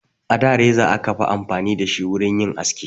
A da reza aka fi amfani da shi wurin yin aski